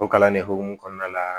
O kalan ne hokumu kɔnɔna la